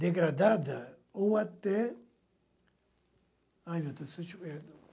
Degradada ou até... Ai, meu Deus, deixa eu ver.